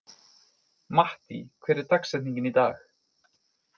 Mattý, hver er dagsetningin í dag?